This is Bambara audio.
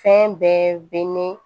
Fɛn bɛɛ bɛ ni